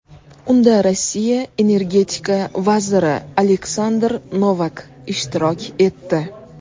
Unda Rossiya energetika vaziri Aleksandr Novak ishtirok etdi.